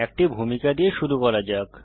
একটি ভূমিকা দিয়ে শুরু করা যাক